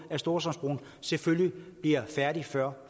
at storstrømsbroen selvfølgelig bliver færdig før